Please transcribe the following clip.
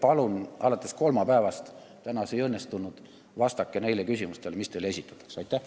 Palun alates kolmapäevast – täna see ei õnnestunud – vastata neile küsimustele, mis teile esitatakse!